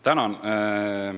Tänan!